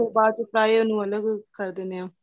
ਬਾਅਦ ਵਿੱਚ fry ਉਹਨੂੰ ਅਲੱਗ ਕਰ ਦਿੰਨੇ ਹਾਂ